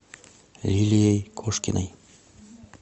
лилией кошкиной